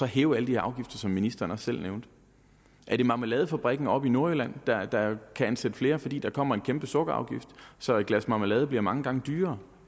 hæve alle de her afgifter som ministeren også selv nævnte er det marmeladefabrikken oppe i nordjylland der der kan ansætte flere fordi der kommer en kæmpe sukkerafgift så et glas marmelade bliver mange gange dyrere